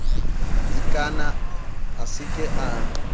ikana a se ke a